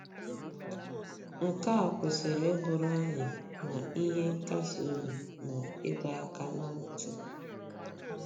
Nke a kwesịrị ịbụrụ anyị ma ihe nkasi obi ma ịdọ aka ná ntị.